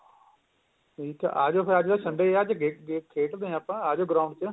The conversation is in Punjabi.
ਆਜੋ ਫੇਰ ਆਜੋ sunday ਏ ਅੱਜ game ਗੁਮ ਖੇਡਦੇ ਆ ਆਪਾਂ ਆਜੋ ground ਚ